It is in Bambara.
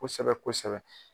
Kosɛbɛ-kosɛbɛ